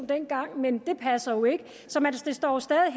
dengang men det passer jo ikke så det står stadig